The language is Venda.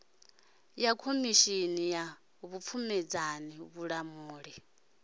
ya khomishini ya vhupfumedzani vhulamuli